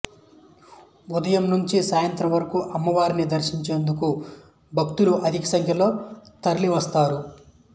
ఉదయం నుంచి సాయంత్రం వరకు అమ్మవారిని దర్శించుకునేందుకు భక్తులు అధిక సంఖ్యలో తరలివస్తారు